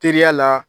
Teriya la